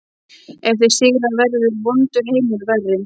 Ef þeir sigra verður vondur heimur verri